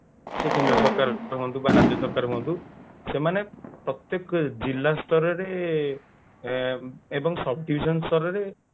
ସେ କେନ୍ଦ୍ର ସରକାର ହୁଅନ୍ତୁ ବା ରାଜ୍ୟ ସରକାର ହୁଅନ୍ତୁ ପ୍ରତ୍ଯେକ ଜିଲ୍ଲା ସ୍ତରରେ ଆଁ ଏବଂ sub division ସ୍ତରରେ